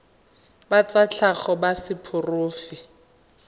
ba tsa tlhago ba seporofe